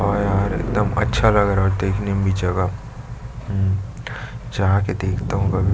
और -और एकदम अच्छा लग रहा है और देखने भी जगह अम जाके देखता हूँ कभी --